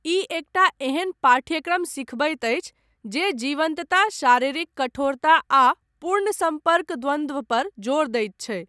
ई एकटा एहन पाठ्यक्रम सिखबैत अछि जे जीवंतता, शारीरिक कठोरता, आ पूर्ण सम्पर्क द्वन्द्वपर जोर दैत छै।